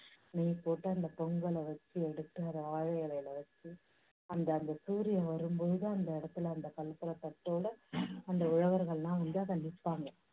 நெய் போட்டு அந்த பொங்கலை வச்சு எடுத்து அதை வாழை இலையில வெச்சு அந்த அந்த சூரியன் வரும் பொழுது அந்த இடத்துல அந்த கற்பூரத் தட்டோட அந்த உழவர்கள் எல்லாம் வந்து அங்க நிப்பாங்க.